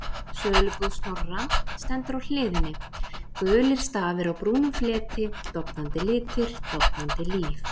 Sölubúð Snorra, stendur á hliðinni, gulir stafir á brúnum fleti, dofnandi litir, dofnandi líf.